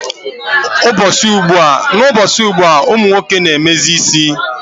N'ụbọchị ugbua, ụmụ nwoke na-emezi isi.